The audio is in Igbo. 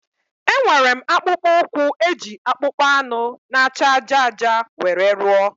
Enwere m akpụkpọ ụkwụ e ji akpụkpọ anụ na acha ájá ájá were rụọ